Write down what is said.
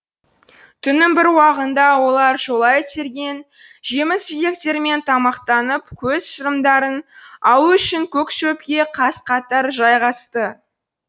түннің бір уағында олар жолай терген жеміс жидектермен тамақтанып көз шырымдарын алу үшін көк шөпке қаз қатар жайғасты